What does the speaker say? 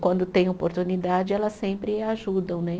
Quando tem oportunidade, elas sempre ajudam, né?